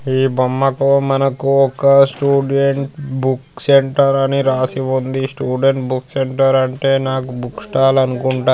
ఈ బొమ్మకు మనకు ఒక్క స్టూడెంట్ బుక్ సెంటర్ అని రాసి ఉంది. స్టూడెంట్ బుక్ సెంటర్ అంటే నాకు బుక్ స్టాల్ అనుకుంట.